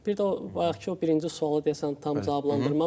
Bir də o bayaqkı o birinci sualı deyəsən tam cavablandırmadı.